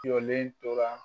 Jɔlen tora